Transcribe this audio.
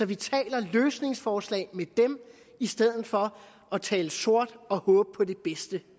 vi taler løsningsforslag med dem i stedet for at tale sort og håbe på det bedste